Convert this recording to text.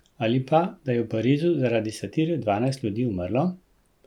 To je tisto, kar je kul v življenju.